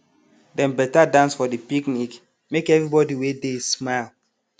dem better dance for de picnic make everybody wey dey smile